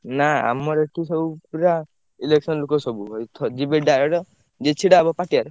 ନା ଆମର ଏଠି ସବୁ ପୁରା election ଲୋକ ସବୁ ଯିବେ direct ଯିଏ ଛିଡା ହବ ପାଟିଆରେ।